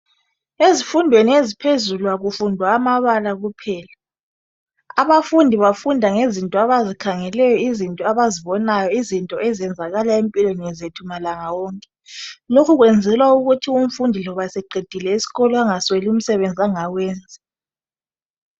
Ezifundwen eziphezulu akufundwa amabala kuphela abafundi bafunda ngezinto abazikhangeleyo izinto abazibonayo izinto ezenzakala empilweni zethu malanga wonke lokhu kwenzelwa ukut umfundi lobe eseqedile isikolo engasweli umsebenzi angawenza